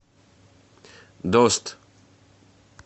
дост